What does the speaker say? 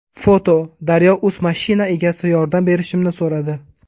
foto: daryo.uz Mashina egasi yordam berishimni so‘radi.